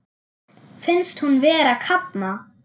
Finnst hún vera að kafna.